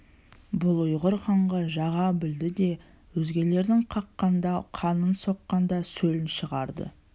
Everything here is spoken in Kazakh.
бұл ұйғыр ханға жаға білді де өзгелердің қаққанда қанын соққанда сөлін шығарды